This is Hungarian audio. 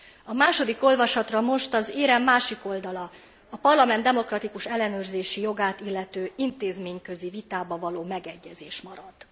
A második olvasatra most az érem másik oldala, a Parlament demokratikus ellenőrzési jogát illető intézményközi vitában való megegyezés marad.